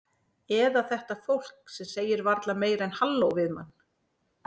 Eða þetta fólk sem segir varla meira en halló við mann.